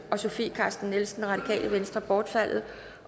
og sofie carsten nielsen bortfaldet